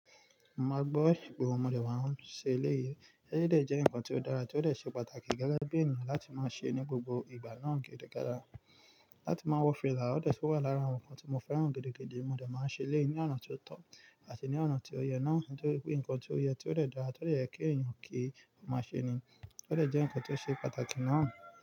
Mo máa gbọ́ ìgbómo nígbà tí mo bá ń ṣe ilé yìí. Eré dé jẹ́ nǹkan tó dára, tí ó lè ṣe pàtàkì gẹ́gẹ́ bí ènìyàn láti máa ṣe ní gbogbo ìgbà náà gẹ́gẹ́ gẹ́gẹ́. Láti máa wọ fìlà, ó lè sì wà lára àwọn nǹkan tí mo fẹ́ràn gẹ́gẹ́ gẹ́gẹ́. Mo dà máa ń ṣe ilé ní ọ̀nà tó tọ́ àti ní ọ̀nà tí ó yẹ náà nítorí pé nǹkan tí ó yẹ, tí ó lè dára, tí ó lè kí ènìyàn kí, mo máa ṣe ni. Ó dè jẹ́ nǹkan tó ṣe pàtàkì náà.